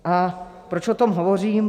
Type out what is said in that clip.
A proč o tom hovořím?